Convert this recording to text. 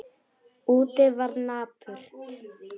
Úti var napurt.